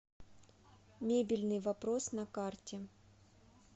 мебельный вопрос на карте